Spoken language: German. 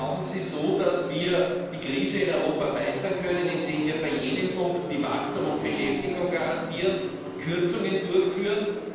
Glauben Sie, dass wir so die Krise in Europa meistern können, indem wir bei jenen Punkten, die Wachstum und Beschäftigung garantieren, Kürzungen durchführen?